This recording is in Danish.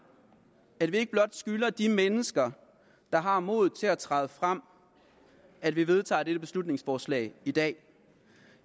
at vi ikke blot skylder de mennesker der har modet til at træde frem at vi vedtager dette beslutningsforslag i dag